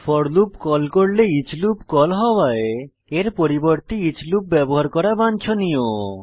four loop call করলে each loop call হওয়ায় এর পরিবর্তে ইচ লুপ ব্যবহার করা বাঞ্ছনীয়